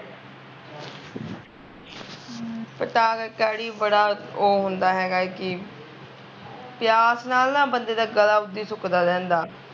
ਫਿਰ ਤਾਂ ਕਰਕੇ ਅੜੀਏ ਬੜਾ ਓਹ ਹੁੰਦਾ ਹੈਗਾ ਐ ਕੀ ਪਿਆਸ ਨਾਲ਼ ਨਾ ਬੰਦੇ ਦਾ ਗਲਾਂ ਉਦੀ ਸੁੱਕਦਾ ਰਹਿੰਦਾ